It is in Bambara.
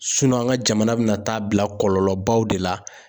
an ka jamana bɛ na taa bila kɔlɔlɔbaw de la.